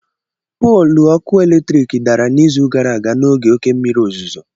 Pólù ọkụ eletrik dara n'izu gara aga n'oge oke mmiri ozuzo.